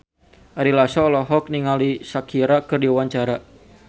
Ari Lasso olohok ningali Shakira keur diwawancara